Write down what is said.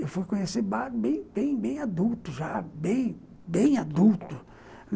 Eu fui conhecer bar bem bem bem adulto, já bem bem adulto.